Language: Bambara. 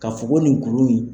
Ka f ɔ ko nin kuru in